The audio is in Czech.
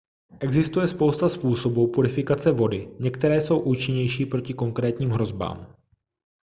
existuje spousta způsobů purifikace vody některé jsou účinnější proti konkrétním hrozbám